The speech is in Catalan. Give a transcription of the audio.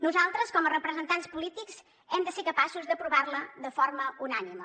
nosaltres com a representants polítics hem de ser capaços d’aprovar la de forma unànime